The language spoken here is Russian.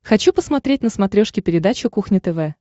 хочу посмотреть на смотрешке передачу кухня тв